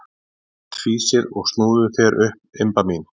Flest fýsir og snúðu þér upp, Imba mín.